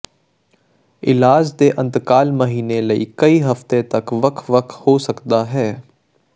ਇਲਾਜ ਦੇ ਅੰਤਰਾਲ ਮਹੀਨੇ ਲਈ ਕਈ ਹਫਤੇ ਤੱਕ ਵੱਖ ਵੱਖ ਹੋ ਸਕਦਾ ਹੈ